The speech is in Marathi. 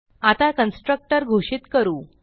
आता कन्स्ट्रक्टर घोषित करू